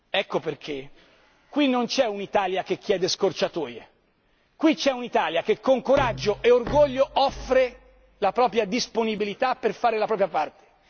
Ecco perché qui non c'è un'Italia che chiede scorciatoie qui c'è un'Italia che con coraggio e orgoglio offre la propria disponibilità per fare la propria parte.